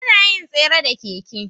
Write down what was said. Anayin tsere da keke